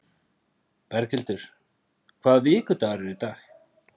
Berghildur, hvaða vikudagur er í dag?